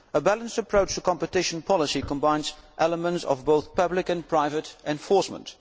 A balanced approach to competition policy combines elements of both public and private enforcement.